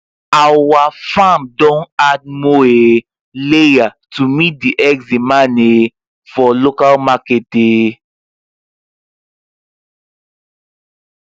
our farm don add more um layer to meet the eggs demand um for local market um